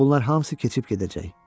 Ancaq bunlar hamısı keçib gedəcək.